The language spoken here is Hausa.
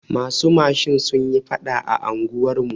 Masu mashin sunyi faɗa a unguwar mu.